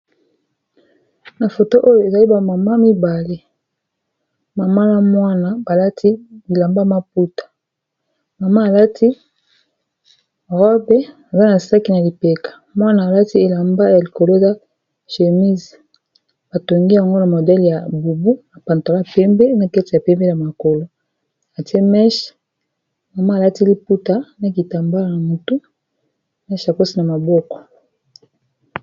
Na foto oyo ezali ba mama mibale mama na mwana balati lilamba maputa mama alati robe zana s na lipeka, mwana alati elamba yalikolo ya chémese batongi yango na modele ya bubu na pantala pembe na keti ya pembe na makolo atie meshe mama alati liputa na kitambala na mutu na shakose na maboko.